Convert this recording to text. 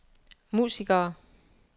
musikere